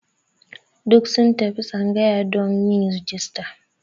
Duka sun tafi tsangayar don yin rajista.